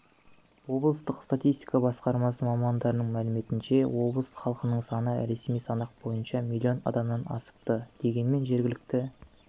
облыстық статистика басқармасы мамандарының мәліметінше облыс халқының саны ресми санақ бойынша миллион адамнан асыпты дегенмен жергілікті